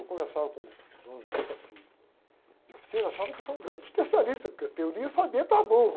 Eu conversava com o dono de fa, de, de oficina, achavam que eu sou um grande especialista, porque a teoria eu sabia para burro.